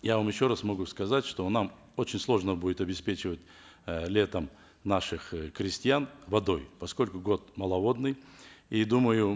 я вам еще раз могу сказать что нам очень сложно будет обеспечивать э летом наших э крестьян водой поскольку год маловодный и думаю